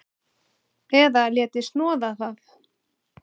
Eða léti snoða það.